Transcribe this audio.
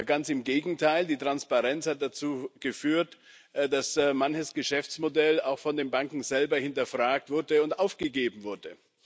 Ganz im Gegenteil Die Transparenz hat dazu geführt, dass manches Geschäftsmodell auch von den Banken selber hinterfragt und aufgegeben wurde.